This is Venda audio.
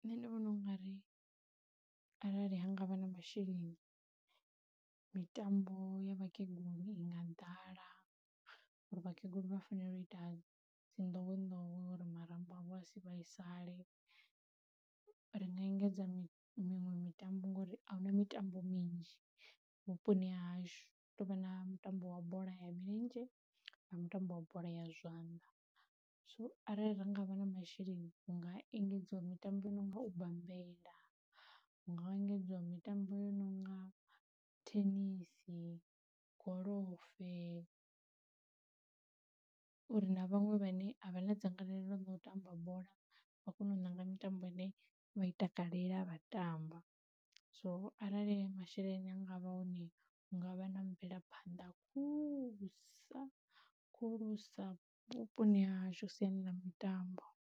Nṋe ndi vhona u nga ri arali ha ngavha na masheleni mitambo ya vhakegulu i nga ḓala, ngauri vhakegulu vha fanela u ita dzi ndowendowe uri marambo avho a si vhaisale, ri nga engedza miṅwe mitambo ngori ahuna mitambo minzhi vhuponi hashu hu tovha na mutambo wa bola ya milenzhe na mutambo wa bola ya zwanḓa, so arali ra ngavha na masheleni hunga engedzwa mitambo i nonga u bambela, hu nga engedziwa mitambo yo nonga thenisi, golofe, uri na vhaṅwe vhane a vha na dzangalelo lo tamba bola vha kone u ṋanga ine vha i takalela vha tamba. So arali masheleni anga vha hone hu ngavha na mvelaphanḓa khulusa khulusa vhuponi hashu siani ḽa mitambo.